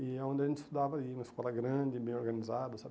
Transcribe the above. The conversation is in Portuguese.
E é onde a gente estudava ali, e uma escola grande, bem organizada, sabe?